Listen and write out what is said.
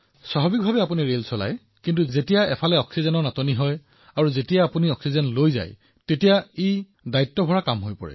ৰেলো স্বাভাৱিক ধৰণে চলাইছে কিন্তু এতিয়া অক্সিজেনৰ ইমান চাহিদা আৰু আৰু আপুনি অক্সিজেন পৰিবহণ কৰাৰ সময়ত দায়িত্বও অধিক হৈছে